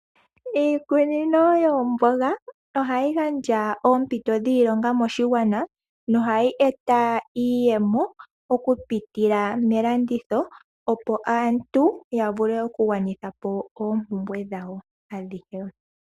Iikunino yoomboga ohayi gandja oompito dhiilonga moshigwana, nohayi eta iiyemo okupitila melanditho opo aantu ya vule okugwanitha po oompumwe dhawo adhihe.